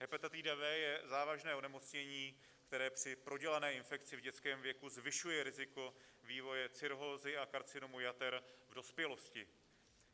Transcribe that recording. Hepatitida B je závažné onemocnění, které při prodělané infekci v dětském věku zvyšuje riziko vývoje cirhózy a karcinomu jater v dospělosti.